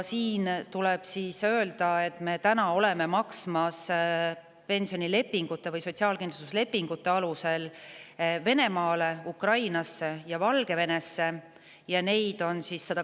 Siinkohal tuleb öelda, et praegu me maksame pensionilepingute või sotsiaalkindlustuslepingute alusel Venemaale, Ukrainasse ja Valgevenesse kokku 120 inimesele.